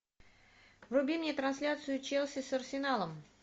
вруби мне трансляцию челси с арсеналом